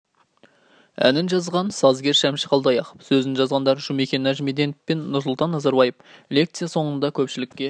әнін жазған сазгер шәмші қалдаяқов сөзін жазғандар жұмекен нәжимеденов пен нұрсұлтана назарбаев лекция соңында көпшілікке